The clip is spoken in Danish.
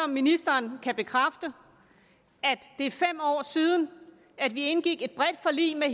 ministeren kan bekræfte at det er fem år siden at vi indgik et bredt forlig med